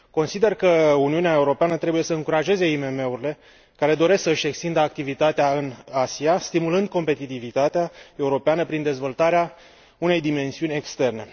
Consider că Uniunea Europeană trebuie să încurajeze IMM urile care doresc să își extindă activitatea în Asia, stimulând competitivitatea europeană prin dezvoltarea unei dimensiuni externe.